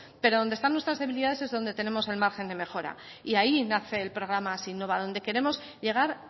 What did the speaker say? pero donde están nuestras debilidades es donde tenemos el margen de mejora y ahí nace el programa hazinnova donde queremos llegar